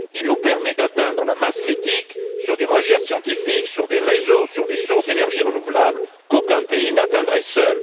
Il nous permet d'atteindre la masse critique sur des recherches scientifiques, sur des réseaux, sur des sources d'énergie renouvelables qu'aucun pays n'atteindrait seul.